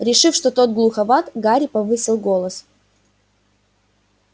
решив что тот глуховат гарри повысил голос